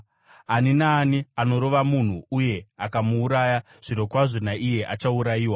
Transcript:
“Ani naani anorova munhu uye akamuuraya, zvirokwazvo naiye achaurayiwa.